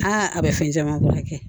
Aa a bɛ fɛn caman kɛ